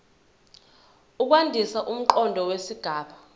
ukwandisa umqondo wesigaba